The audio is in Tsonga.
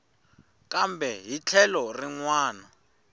kambe hi tlhelo rin wana